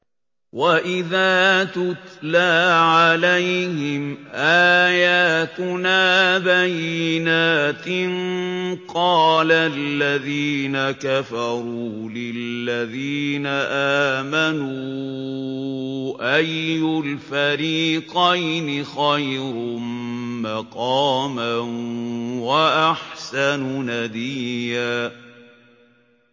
وَإِذَا تُتْلَىٰ عَلَيْهِمْ آيَاتُنَا بَيِّنَاتٍ قَالَ الَّذِينَ كَفَرُوا لِلَّذِينَ آمَنُوا أَيُّ الْفَرِيقَيْنِ خَيْرٌ مَّقَامًا وَأَحْسَنُ نَدِيًّا